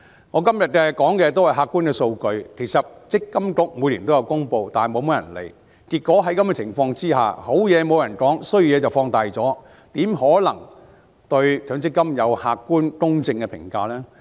我今天提的全部是客觀的數據，其實積金局每年也有公布，但很少人理會，結果優點沒有人提起，缺點則被放大，怎可能對強積金有客觀、公正的評價呢？